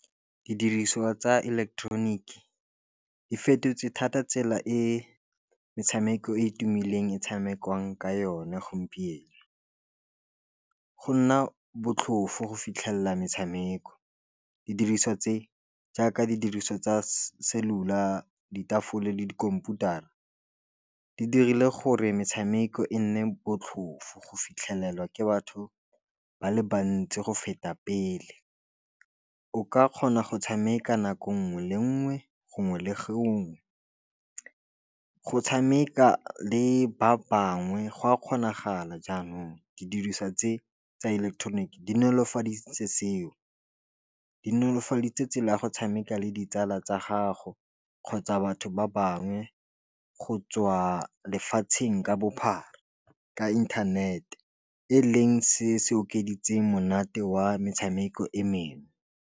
Didiriswa tsa ileketeroniki di fetotse thata tsela e metshameko e e tumileng e tshamekiwang ka yone gompieno go nna botlhofo go fitlhelela metshameko didiriswa tse jaaka di diriswa tsa cellular ka ditafole le dikhomputara di dirile gore metshameko e nne botlhofo go fitlhelelwa ke batho ba le bantsi go feta pele, o ka kgona go tshameka nako nngwe le nngwe gongwe le gongwe, go tshameka le ba bangwe go a kgonagala jaanong, ke dirisa tse tsa ileketeroniki di nolofaditse seo, di nolofaditse tsela ya go tshameka le ditsala tsa gago kgotsa batho ba bangwe go tswa lefatsheng ka bophara ka internet-e, e leng se se okeditsweng monate wa metshameko e mengwe.